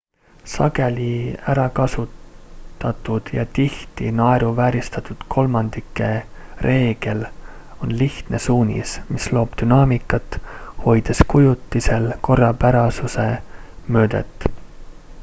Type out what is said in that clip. sageli ärakasutatud ja tihti naeruvääristatud kolmandike reegel on lihtne suunis mis loob dünaamikat hoides kujutisel korrapärasuse mõõdet